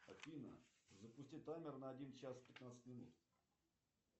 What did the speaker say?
афина запусти таймер на один час пятнадцать минут